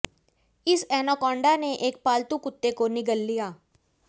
इस एनाकोंडा ने एक पालतू कुत्ते को निगल लिया